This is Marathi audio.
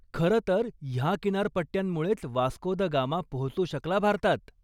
खरंतर, ह्या किनारपट्ट्यांमुळेच वास्को द गामा पोहचू शकला भारतात.